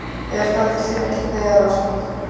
Ég held að þetta sé ekkert neyðarástand.